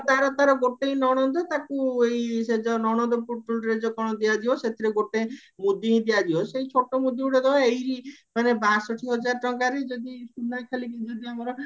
ତାର ତାର ଗୋଟେଇ ନଣନ୍ଦ ତାକୁ ସେ ଯୋଉ ନଣନ୍ଦ ପୁଟୁଳିରେ ଯୋଉ କଣ କଣ ଦିଆଯିବ ସେଥିରେ ଗୋଟେ ମୁଦି ସେଇ ଛୋଟ ମୁଦି ଗୋଟେ ଦବା ଏଇ ମାନେ ବାଷଠି ଟଙ୍କାରେ ଯଦି ସୁନା ଖାଲି ଆମର